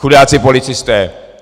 Chudáci policisté.